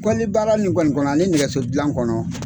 Kɔlili baara nin kɔni kɔnɔ ani nɛgɛso dilan kɔnɔ